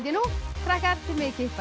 krakkar þið megið kippa í